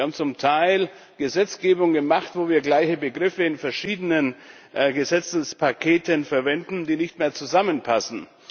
Wir haben zum Teil Gesetzgebung gemacht, wo wir gleiche Begriffe in verschiedenen Gesetzespaketen verwenden, die nicht mehr zusammenpassen.